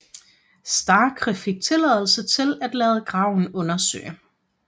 Starcke fik tilladelse til at lade graven undersøge